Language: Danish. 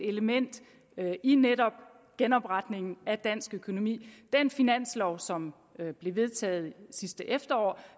element i netop genopretningen af dansk økonomi den finanslov som blev vedtaget sidste efterår